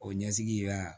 O ɲɛsigi la